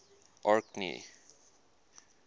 orkney